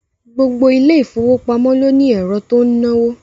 Gbogbo ilé ìfowópamọ́ ló ní ẹ̀rọ tó ń náwó